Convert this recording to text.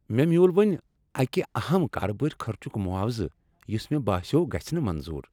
مےٚ میوٗل ؤنی اکہ اہم کاربٲری خرچک معاوضہٕ یس مےٚ باسیو گژھہ نہٕ منظور۔